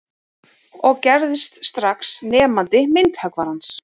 Og gerðist strax nemandi myndhöggvarans